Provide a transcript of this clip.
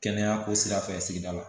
Kɛnɛya ko sira fɛ sigida la